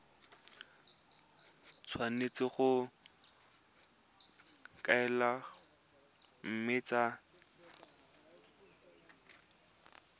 tshwanetse go kokoanngwa mme tsa